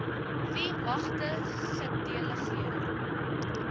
wie magte gedelegeer